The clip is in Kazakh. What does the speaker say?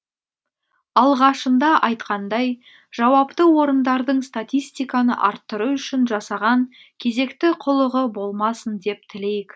алғашында айтқандай жауапты орындардың статистиканы арттыру үшін жасаған кезекті қулығы болмасын деп тілейік